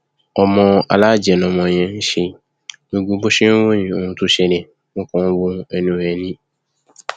ọmọ alájẹ lọmọ yẹn ṣe gbogbo bó ṣe ń ròyìn ohun tó ṣẹlẹ mo kàn ń wo ẹnu ẹ ni